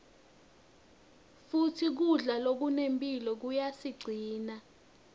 futsi kudla lokunemphilo kuyasicinsa